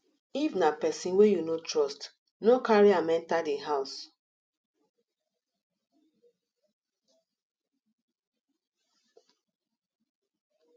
if na person wey you no trust no carry am enter di house